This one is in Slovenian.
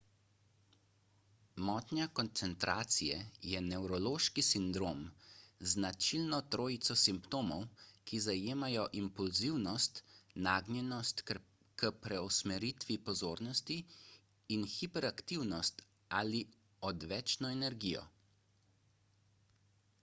motnja koncentracije je nevrološki sindrom z značilno trojico simptomov ki zajemajo impulzivnost nagnjenost k preusmeritvi pozornosti in hiperaktivnost ali odvečno energijo